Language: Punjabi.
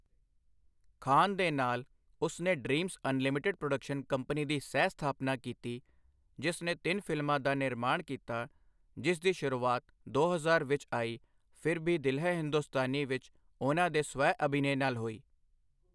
ਖਾਨ ਦੇ ਨਾਲ, ਉਸ ਨੇ ਡ੍ਰੀਮਜ਼ ਅਨਲਿਮਟਿਡ ਪ੍ਰੋਡਕਸ਼ਨ ਕੰਪਨੀ ਦੀ ਸਹਿ ਸਥਾਪਨਾ ਕੀਤੀ, ਜਿਸ ਨੇ ਤਿੰਨ ਫਿਲਮਾਂ ਦਾ ਨਿਰਮਾਣ ਕੀਤਾ, ਜਿਸ ਦੀ ਸ਼ੁਰੂਆਤ ਦੋ ਹਜ਼ਾਰ ਵਿੱਚ ਆਈ ਫਿਰ ਭੀ ਦਿਲ ਹੈ ਹਿੰਦੁਸਤਾਨੀ ਵਿੱਚ ਉਹਨਾਂ ਦੇ ਸਵੈ ਅਭਿਨੈ ਨਾਲ ਹੋਈ।